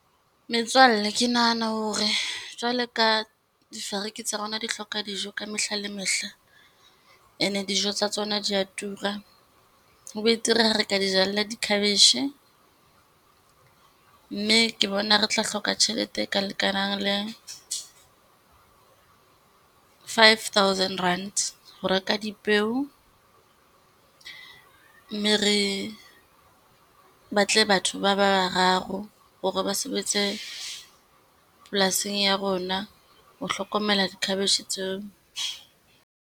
Metswalle, ke nahana hore jwalo ka difariki tsa rona di hloka dijo ka mehla le mehla, ene dijo tsa tsona di ya tura. Ho betere ha re ka di jalla di-cabbage, mme ke bona re tla hloka tjhelete e ka lekanang le five thousand rand ho reka dipeo. Mme re batle batho ba bararo hore ba sebetse polasing ya rona ho hlokomela di-cabbage tseo.